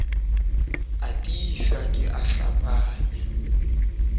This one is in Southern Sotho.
a tiisa ke a hlapanya